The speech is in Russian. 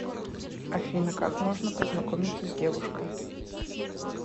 афина как можно познакомиться с девушкой